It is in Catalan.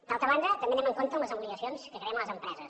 d’altra banda també anem amb compte amb les obligacions que creem a les empreses